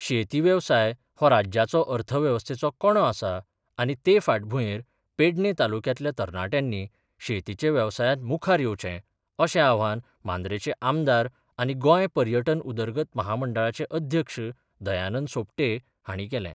शेती वेवसाय हो राज्याचो अर्थवेवस्थेचो कणो आसा आनी ते फाटभुयेर पेडणे तालुअक्यातल्या तरणाट्यानी शेतीच्या वेवसायात मुखार येवचे अशे आवाहन मांद्रेचे आमदार आनी गोय पर्यटन उदरगत महामंडळाचे अध्यक्ष दयानंद सोपटे हाणी केले.